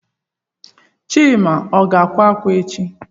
Chima o ga-akwa akwa echi?